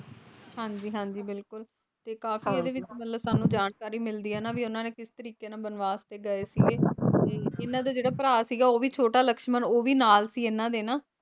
ਹਾਂਜੀ ਹਾਂਜੀ ਬਿਲਕੁਲ ਤੇ ਕਾਫੀ ਇਹਦੇ ਵਿੱਚ ਮਤਲਬ ਸਾਨੂ ਜਾਣਕਾਰੀ ਮਿਲਦੀ ਆ ਨਾ ਵੀ ਉਹਨਾਂ ਨੇ ਕਿਸ ਤਰੀਕੇ ਨਾਲ ਬਨਵਾਸ ਤੇ ਗਏ ਸੀਗੇ ਤੇ ਇਹਨਾਂ ਦਾ ਜਿਹੜਾ ਭਰਾ ਸੀਗਾ ਉਹ ਵੀ ਛੋਟਾ ਲਕਸ਼ਮਣ ਉਹ ਵੀ ਨਾਲ ਸੀ ਇਹਨਾਂ ਦੇ ਨਾ